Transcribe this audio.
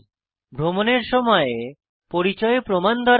ভ্রমণের সময় পরিচয় প্রমাণ প্রয়োজন